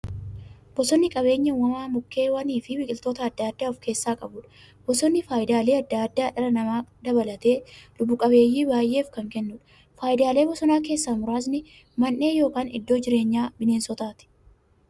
Bosonni qabeenya uumamaa mukkeewwaniifi biqiltoota adda addaa of keessaa qabudha. Bosonni faayidaalee adda addaa dhala namaa dabalatee lubbuu qabeeyyii baay'eef kan kennuudha. Faayidaalee bosonaa keessaa muraasni; Mandhee yookin iddoo jireenya bineensotaati.